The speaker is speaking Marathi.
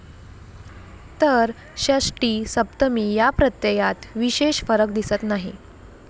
तर षष्टी, सप्तमी या प्रत्ययात विशेष फरक दिसत नाही.